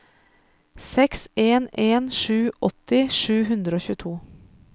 seks en en sju åtti sju hundre og tjueto